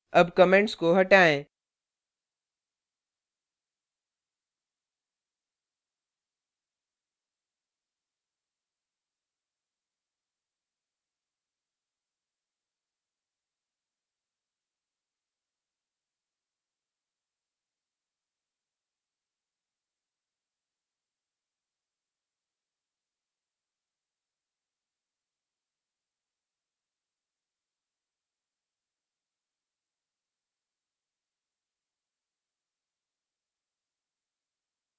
अब comments को हटाएँ